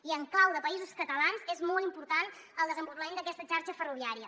i en clau de països catalans és molt important el desenvolupament d’aquesta xarxa ferroviària